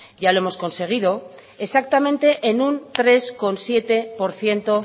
ya lo hemos conseguido exactamente en un tres coma siete por ciento